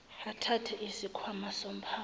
athathe isikhwama somphako